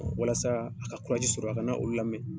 Walasa a ka sɔrɔ a kana olu lamɛn.